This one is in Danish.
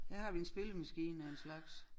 Her har vi en spillemaskine af en slags